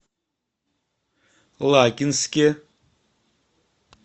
лакинске